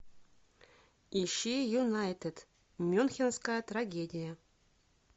ищи юнайтед мюнхенская трагедия